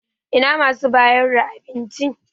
Ina masu bayar da abinci?